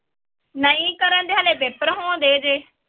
ਨਹੀਂ ਕਰਨ ਦੇ ਹਾਲੇ ਪੇਪਰ ਹੋਂਦੇ ਜੇ